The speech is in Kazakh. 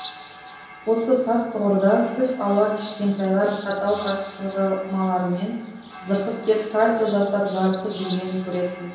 осы тас тұғырда түс ауа кішкентайлар каталка сырғымаларымен зырғып кеп сальто жасап жарысып жүргенін көресің